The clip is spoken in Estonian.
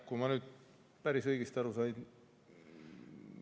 Kui ma nüüd päris õigesti aru sain ...